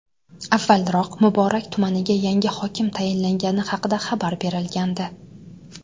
Avvalroq Muborak tumaniga yangi hokim tayinlangani haqida xabar berilgandi .